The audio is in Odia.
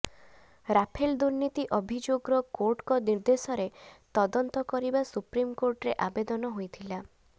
ରାଫେଲ ଦୁର୍ନୀତି ଅଭିଯୋଗର କୋର୍ଟଙ୍କ ନିର୍ଦ୍ଦେଶରେ ତଦନ୍ତ କରିବା ସୁପ୍ରିମକୋର୍ଟରେ ଆବେଦନ ହୋଇଥିଲା